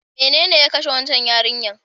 Menene ya kashe waccan yarinyar?